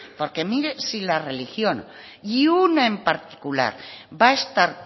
porque mire si la religión y una en particular va a estar